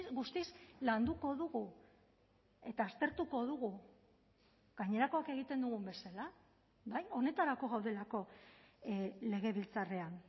guztiz landuko dugu eta aztertuko dugu gainerakoak egiten dugun bezala bai honetarako gaudelako legebiltzarrean